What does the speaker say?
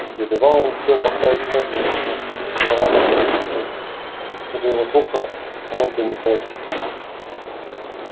едва он успел поставить ногу на ступеньку мраморной лестницы как до его слуха вновь донеслось